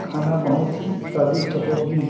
खाना बहोत ही स्वादिष्ट होगी--